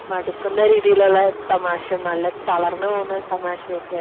മടുക്കുന്ന രീതിയിലുള്ള തമാശ നല്ല തളർന്നു പോകുന്ന തമാശയൊക്കെയാണ്